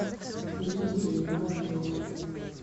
лилией муравьевой